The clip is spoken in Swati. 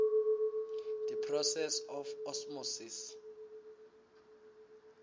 the process of osmosis